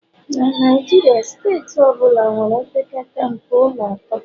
na Naijiria, steeti ọ bụla nwere opekata mpe ụlọ atọ